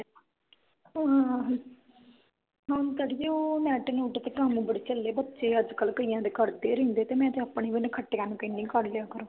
ਹੁਣ ਤਾਂ ਅੜੀਏ ਉਹ ਨੈਟ-ਨੂਟ ਤੇ ਕੰਮ ਬੜੇ ਚਲੇ ਬੱਚੇ ਅੱਜ ਕਲ ਕਈਆਂ ਦੇ ਕਰਦੇ ਰਹਿੰਦੇ ਤੇ ਮੈਂ ਆਪਣੇ ਵੀ ਨਾਖੱਟਿਆ ਨੂੰ ਕਹਿੰਦੀ ਕਰ ਲਿਆ ਕਰੋ